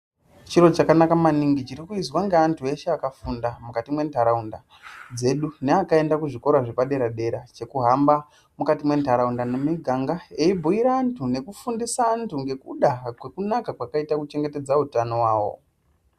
Chirochakanaka maningi chirikuizwa ngeantu eshe akafunda mukati mwentaraunda dzedu. Neakaenda kuzvikora zvepadera-dera, chekuhamba mukati mwentaraunda nemumiganga eibhuira antu nekufundisa antu ngekuda kwekunaka kwakaita kuchengetedza utano hwavo.